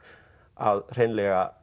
að hreinlega